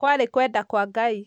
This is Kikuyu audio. kwarĩ kwenda kwa ngai